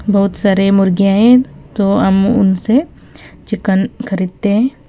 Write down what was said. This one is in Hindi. बहुत सारे मुर्गीयां हैं तो हम उनसे चिकन खरीदते हैं।